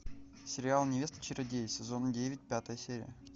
сериал невеста чародея сезон девять пятая серия